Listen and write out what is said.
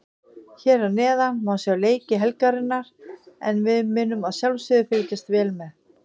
Hér að neðan má sjá leiki helgarinnar en við munum að sjálfsögðu fylgjast vel með.